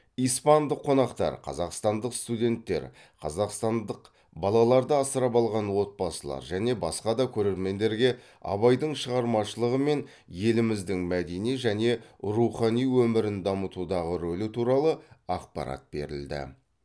испандық қонақтар қазақстандық студенттер қазақстандық балаларды асырап алған отбасылар және басқа да көрермендергеабайдың шығармашылығы мен еліміздің мәдени және рухани өмірін дамытудағы рөлі туралы ақпарат берілді